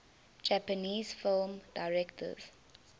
japanese film directors